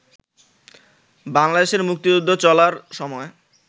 বাংলাদেশের মুক্তিযুদ্ধ চলার সময়